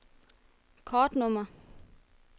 kortnummer